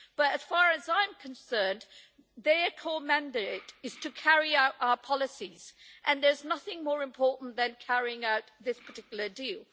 But as far as I'm concerned, their core mandate is to carry out our policies, and there's nothing more important than carrying out this particular deal.